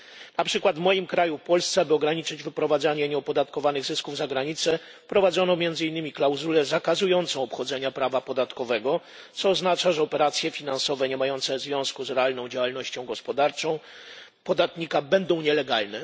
Na przykład w moim kraju Polsce by ograniczyć wyprowadzanie nieopodatkowanych zysków za granicę, wprowadzono między innymi klauzulę zakazującą obchodzenia prawa podatkowego, co oznacza, że operacje finansowe niemające związku z realną działalnością gospodarczą podatnika będą nielegalne.